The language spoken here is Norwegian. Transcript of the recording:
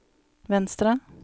venstre